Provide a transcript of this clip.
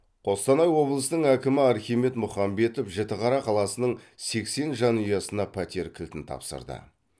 қостанай облысының әкімі архимед мұхамбетов жітіқара қаласының сексен жанұясына пәтер кілтін тапсырды